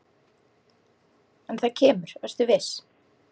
En það kemur, vertu viss.